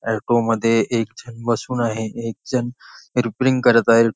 Auto मध्ये एक जण बसून आहे एकजण रिपेरिंग करत आहे.